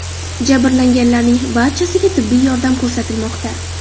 Jabrlanganlarning barchasiga tibbiy yordam ko‘rsatilmoqda.